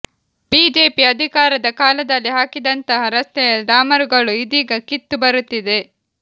BJP ಅಧಿಕಾರದ ಕಾಲದಲ್ಲಿ ಹಾಕಿದಂತಹ ರಸ್ತೆಯ ಡಾಮರುಗಳು ಇದೀಗ ಕಿತ್ತು ಬರುತ್ತಿದೆ